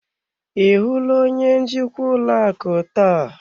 Ị hụla onye njikwa ụlọ akụ taa?